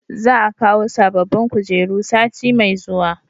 Za a kawo sabobbin kujeru sati mai zuwa